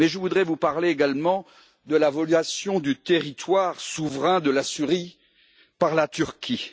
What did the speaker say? Mais je voudrais vous parler également de la violation du territoire souverain de la Syrie par la Turquie.